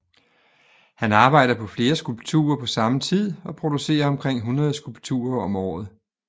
Han arbejder på flere skulpturer på samme tid og producerer omkring 100 skulpturer om året